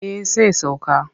Eh sai sauka.